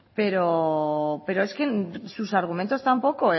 pero es que sus argumentos tampoco